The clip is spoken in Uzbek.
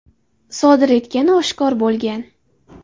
sodir etgani oshkor bo‘lgan.